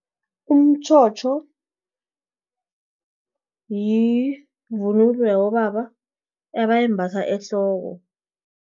Umtjhotjho, yivunulo yabobaba, abayimbatha ehloko.